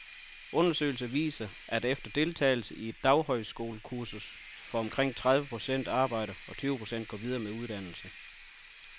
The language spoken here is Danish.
Undersøgelser viser, at efter deltagelse i et daghøjskolekursus får omkring tredive procent arbejde, og tyve procent går videre med en uddannelse.